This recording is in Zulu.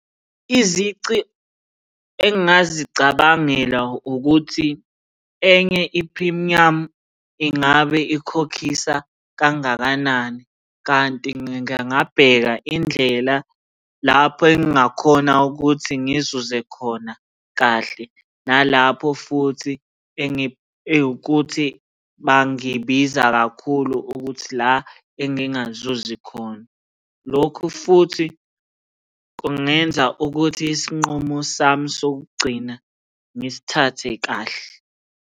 Izici engingazicabangela ukuthi enye iphrimiyamu ingabe ikukhokhisa kangakanani, kanti ngingabheka indlela lapho engingakhona ukuthi ngizuze khona kahle nalapho futhi ewukuthi bangibiza kakhulu ukuthi la engingazuzi khona. Lokhu futhi kungenza ukuthi isinqumo sami sokugcina ngisithathe kahle.